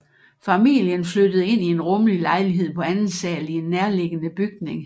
Familien flyttede ind i en rummelig lejlighed på anden sal i en nærliggende bygning